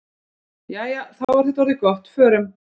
Jæja, þá er þetta orðið gott. Förum.